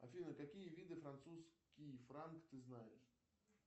афина какие виды французский франк ты знаешь